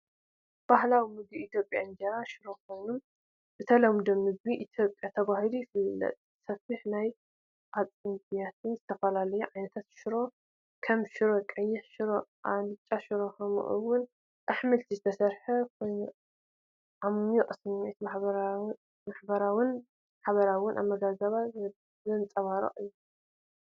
ባህላዊ መግቢ ኢትዮጵያ እንጀራን ሽሮን ኮይኑ፣ ብተለምዶ "ምግቢ ኢትዮጵያ" ተባሂሉ ይፍለጥ። ሰፊሕ ናይ ሓጺን ብያቲ ብዝተፈላለዩ ዓይነታት ሽሮ፣ ከም ሽሮ፣ ቀይሕ ሽሮ፣ ኣልቻ ሽሮ፣ ከምኡ’ውን ኣሕምልቲ ዝተሰርዐ ኮይኑ ዓሚቝ ስምዒት ማሕበረሰባውን ሓባራዊ ኣመጋግባን ዘንጸባርቕ እዩ።